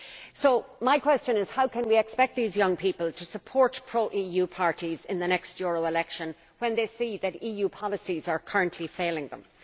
So, my question is how can we expect these young people to support pro EU parties in the next European election when they see that EU policies are currently failing them?